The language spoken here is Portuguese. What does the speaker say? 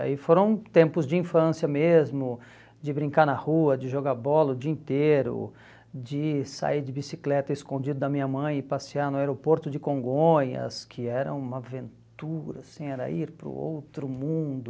Aí foram tempos de infância mesmo, de brincar na rua, de jogar bola o dia inteiro, de sair de bicicleta escondido da minha mãe e passear no aeroporto de Congonhas, que era uma aventura, assim era ir para o outro mundo.